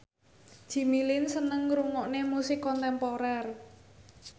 Jimmy Lin seneng ngrungokne musik kontemporer